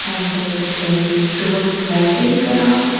and there is all too much of lightings around.